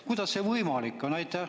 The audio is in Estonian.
Kuidas see võimalik on?